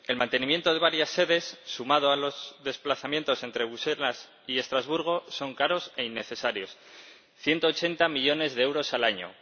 El mantenimiento de varias sedes, sumado a los desplazamientos entre Bruselas y Estrasburgo es caro e innecesario, 180 millones de euros al año.